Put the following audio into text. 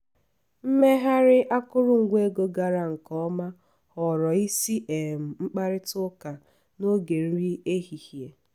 mmegharị akụrụngwa ego gara nke ọma ghọrọ isi um mkparịta ụka n’oge nri ehihie.